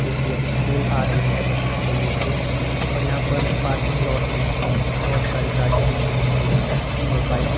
जो की अभी स्कूल आ रही है बच्चों को लेके और यहां पर पार्किंग लोट में बहोत सारी गाड़ियां भी मुझे दिख रही है और बाइक --